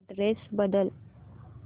address बदल